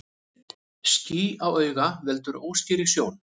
Ský á auga veldur óskýrri sjón.